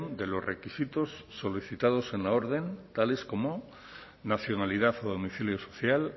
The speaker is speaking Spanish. de los requisitos solicitados en la orden tales como nacionalidad o domicilio social